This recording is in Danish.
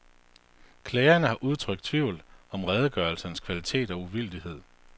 Klagerne har udtrykt tvivl om redegørelsernes kvalitet og uvildighed.